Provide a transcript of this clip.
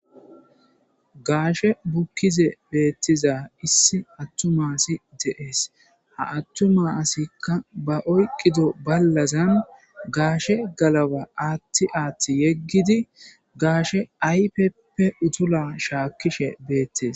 Gaashe bukkize beettiza issi attuma si deees ha attuma asikka ba oyqqido ballazan gaashe galaba aatti aatti yeggidi gaashe aypeppe utula shaakkishe beettes.